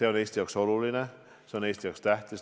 – on Eesti jaoks oluline, on Eesti jaoks tähtis.